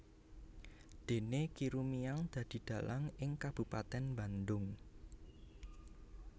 Déné Ki Rumiang dadi dhalang ing kabupatèn Bandung